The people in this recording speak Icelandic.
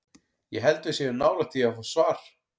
Ég held að við séum nálægt því að fá svar.